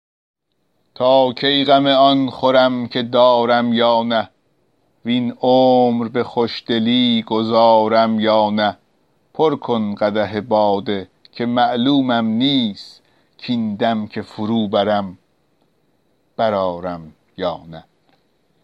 تا کی غم آن خورم که دارم یا نه وین عمر به خوشدلی گذارم یا نه پر کن قدح باده که معلومم نیست کاین دم که فرو برم برآرم یا نه